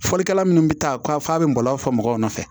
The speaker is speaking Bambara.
Fɔlikɛla minnu bɛ taa f'a bɛ bɔlɔlɔ fa mɔgɔw nɔfɛ